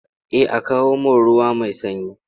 Eh a kawo mun ruwa mai sanyi.